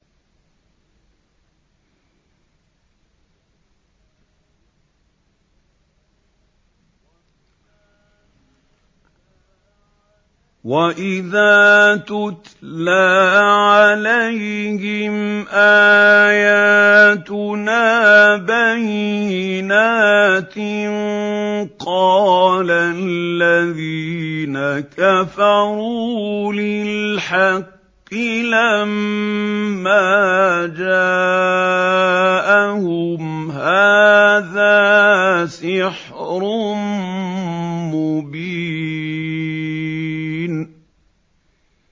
وَإِذَا تُتْلَىٰ عَلَيْهِمْ آيَاتُنَا بَيِّنَاتٍ قَالَ الَّذِينَ كَفَرُوا لِلْحَقِّ لَمَّا جَاءَهُمْ هَٰذَا سِحْرٌ مُّبِينٌ